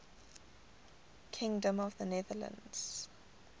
kingdom of the netherlands